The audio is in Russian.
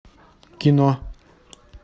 кино